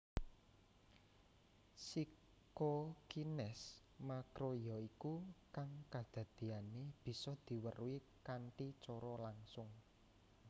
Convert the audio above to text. Psikokines makroyaiku kang kadadiané bisa diweruhi kanthi cara langsung